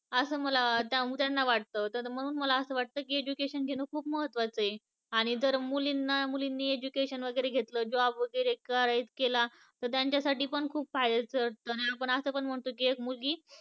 असं मला अं त्यांना वाटत त्यामुळं मला अस वाटत की education घेण खूप महत्त्वाचं आहे आणि जर मुलींना मुलींनी education वेगेरे घेतल job वेगेरे कराय केला तर त्यांच्यासाठी पण खूप फायद्याचं आणि आपण अस पण म्हणतो की एक मुलगी